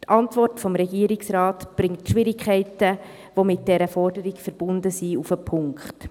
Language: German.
Die Antwort des Regierungsrates bringt die Schwierigkeiten, die mit dieser Forderung verbunden sind, auf den Punkt.